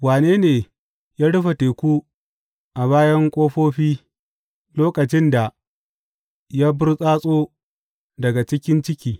Wane ne ya rufe teku a bayan ƙofofi, lokacin da ya burtsatso daga cikin ciki.